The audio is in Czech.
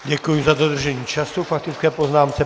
Děkuji za dodržení času k faktické poznámce.